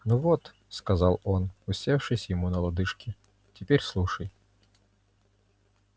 ну вот сказал он усевшись ему на лодыжки теперь слушай